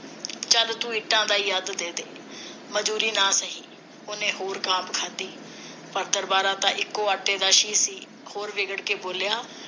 ਚੱਲ ਤੂੰ ਇੱਟਾਂ ਦਾ ਹੀ ਅੱਧ ਦੇਦੇ ਮਜਦੂਰੀ ਨਾ ਸਹੀ ਉਹਨੇ ਹੋਰ ਖਾਧੀ ਪਰ ਦਰਬਾਰਾ ਤਾ ਇਕੋ ਆਟੇ ਦਾ ਸੀ ਹੋਰ ਵਿਗੜ ਕੇ ਬੋਲਿਆ